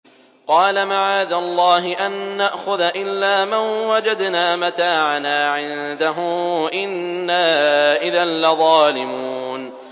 قَالَ مَعَاذَ اللَّهِ أَن نَّأْخُذَ إِلَّا مَن وَجَدْنَا مَتَاعَنَا عِندَهُ إِنَّا إِذًا لَّظَالِمُونَ